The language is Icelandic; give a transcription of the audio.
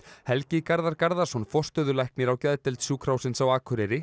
Helgi Garðar Garðarsson forstöðulæknir á geðdeild Sjúkrahússins á Akureyri